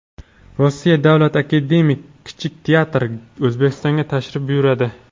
Rossiya Davlat akademik kichik teatri O‘zbekistonga tashrif buyuradi.